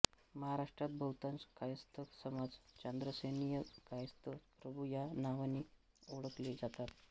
महाराष्ट्रात बहुतांश कायस्थ समाज चांद्रसेनीय कायस्थ प्रभू या नावे ओळखली जातात